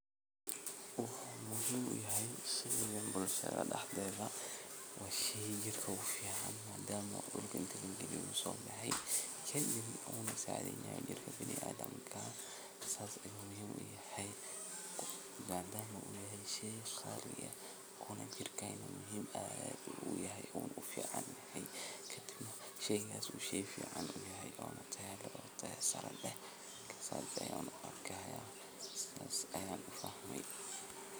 Hawshan beerta soo baxaysa oo sawirka lagu tusayo waa mid muhiimad weyn ugu fadhida bulshada deegaankaaga. Marka laga hadlayo sida hawshan looga qabto bulshadaada, waxaa jira tallaabooyin dhowr ah oo muhiim ah in la qaado si ay bulshadaada uga faa’iidaysato beeraleyntan.